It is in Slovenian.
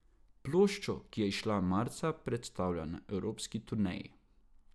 Ploščo, ki je izšla marca, predstavlja na evropski turneji.